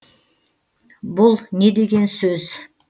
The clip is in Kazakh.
бұл не деген сөз